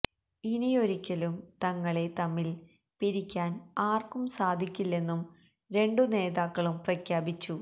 ഇനിയൊരിക്കലും തങ്ങളെ തമ്മിൽ പിരിക്കാൻ ആർക്കും സാധിക്കില്ലെന്നും രണ്ടു നേതാക്കളും പ്രഖ്യാപിച്ചു